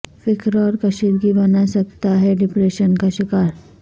فکر اور کشیدگی بنا سکتا ہے ڈپریشن کا شکار